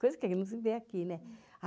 Coisa que a gente não se vê aqui, né?